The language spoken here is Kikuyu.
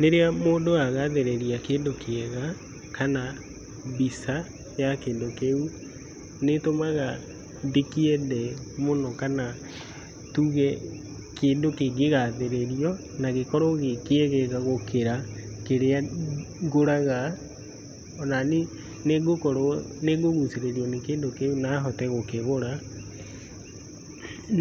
Rĩrĩa mũndũ agathĩrĩria kĩndũ kĩega kana mbica ya kĩndũ kĩu nĩ ĩtũmaga ndĩkĩende mũno. Kana tuge kĩndũ kĩngĩgathĩrĩrio nagĩkorwo gĩkĩegega gũkĩra kĩrĩa ngũraga onani nĩngũgucirĩrio nĩkĩndũ kĩu nahote gũkĩgũra.